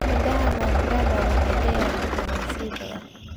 Midhaha mangada waxay leeyihiin fiitamiin C badan.